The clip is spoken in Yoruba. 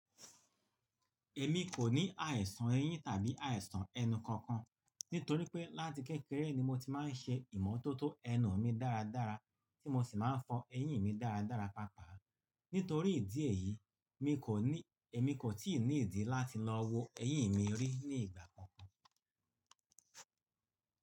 Èmi kò ní àìsàn eyín tàbí àìsàn ẹnu kankan nítorí pé láti kékeré ni mo ti máa ń ṣe ìmọ́tótó ẹnu mi dáradára tí mo sì máa ń fọ eyín mi dáradára papa. Nítorí ìdí èyí, èmi kò tíì ní ìdí láti lọ wo eyín mi rí ní ìgbà kankan.